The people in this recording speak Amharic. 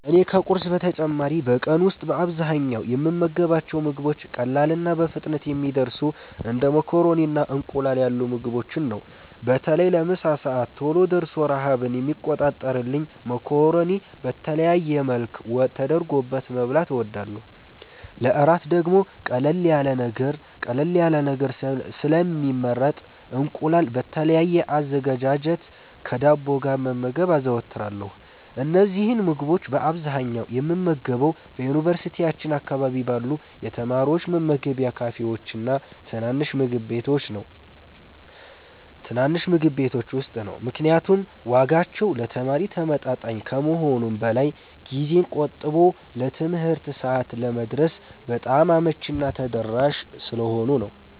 እኔ ከቁርስ በተጨማሪ በቀን ውስጥ በአብዛኛው የምመገባቸው ምግቦች ቀላልና በፍጥነት የሚደርሱ እንደ ማካሮኒና እንቁላል ያሉ ምግቦችን ነው። በተለይ ለምሳ ሰዓት ቶሎ ደርሶ ረሃብን የሚቆርጥልኝን ማካሮኒ በተለያየ መልክ ወጥ ተደርጎበት መብላት እወዳለሁ። ለእራት ደግሞ ቀለል ያለ ነገር ስለሚመረጥ እንቁላል በተለያየ አዘገጃጀት ከዳቦ ጋር መመገብ አዘወትራለሁ። እነዚህን ምግቦች በአብዛኛው የምመገበው በዩኒቨርሲቲያችን አካባቢ ባሉ የተማሪዎች መመገቢያ ካፌዎችና ትናንሽ ምግብ ቤቶች ውስጥ ነው፤ ምክንያቱም ዋጋቸው ለተማሪ ተመጣጣኝ ከመሆኑም በላይ ጊዜን ቆጥቦ ለትምህርት ሰዓት ለመድረስ በጣም አመቺና ተደራሽ ስለሆኑ ነው።